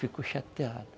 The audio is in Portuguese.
Ficou chateado.